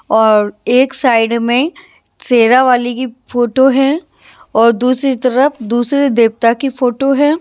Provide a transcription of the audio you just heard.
और एक साइड में शेरा वाली की फोटो है और दूसरी तरफ दूसरे देवता की फोटो है।